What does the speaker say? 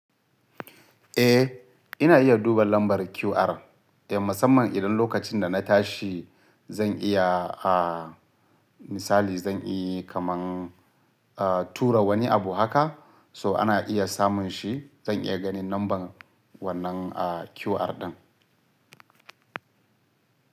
Eh ina iya duba lambar QR, eh musamman idan lokacin da na tashi zan iya, a misali zan iya kaman tura wani abu haka so ana iya samun shi zan iya ganin lambar wannan QR ɗin.